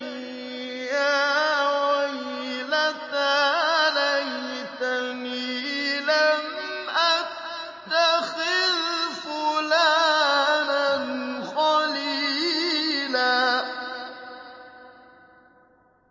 يَا وَيْلَتَىٰ لَيْتَنِي لَمْ أَتَّخِذْ فُلَانًا خَلِيلًا